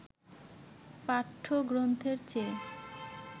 পাঠ্যগ্রন্থের চেয়ে